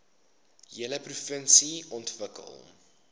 hele provinsie ontwikkel